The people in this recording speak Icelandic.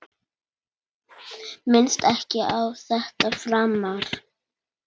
Minnist ekki á þetta framar.